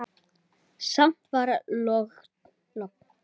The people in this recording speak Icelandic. Samt var logn.